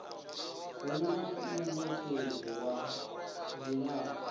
hu na munekedzi wa dzilafho